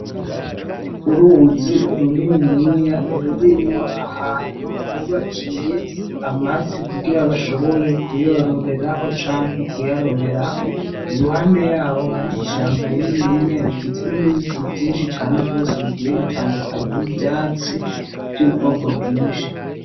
Uruuwuzi runiniya rurimwo ahantu bubakiye amafi kugira bashobore kuyororeraho canke kuyaroberaho i ruhande yaho hari ishambo rininiya rigizwe n'ibiti vyinshi cane rwose bgiye bitandukanye n'ivyatsi ry'ubwoko bwinshi.